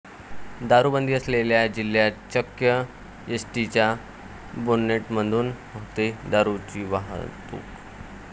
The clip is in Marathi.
दारुबंदी असलेल्या जिल्ह्यात चक्क एसटीच्या बोनेटमधून होते दारुची वाहतूक!